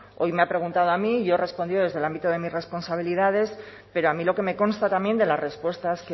hoy me ha preguntado a mí y yo he respondido desde el ámbito de mis responsabilidades pero a mí lo que me consta también de las respuestas